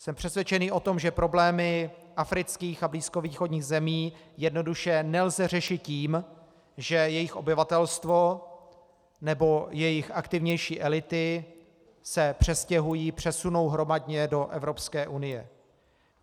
Jsem přesvědčen o tom, že problémy afrických a blízkovýchodních zemí jednoduše nelze řešit tím, že jejich obyvatelstvo nebo jejich aktivnější elity se přestěhují, přesunou hromadně do Evropské unie.